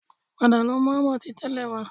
Padà lọ mú hámà ti tẹ́lẹ̀ wá